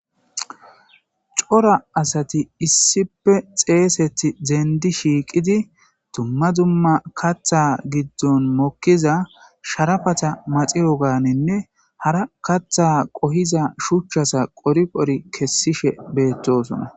cora asati issife xeeseti dendi shiiqidi dumma dumma katha giddon mokkiza sharafata maxiro gaaninne hara katha qohiza shuchchasa qori qori kessishe beettosona